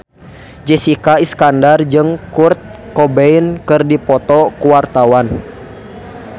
Jessica Iskandar jeung Kurt Cobain keur dipoto ku wartawan